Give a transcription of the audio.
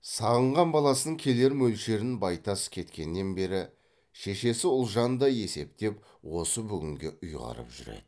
сағынған баласының келер мөлшерін байтас кеткеннен бері шешесі ұлжан да есептеп осы бүгінге ұйғарып жүр еді